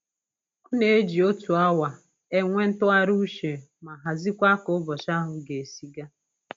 Ọ na-eji otu awa enwe ntụgharị uche ma haziekwa k'ụbọchị ahụ ga-esi gaa